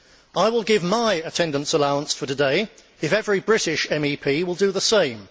I will give my attendance allowance for today if every British MEP will do the same.